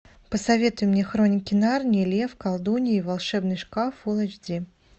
посоветуй мне хроники нарнии лев колдунья и волшебный шкаф фулл эйч ди